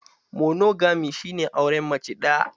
Monogami shi ne auren mace ɗaya.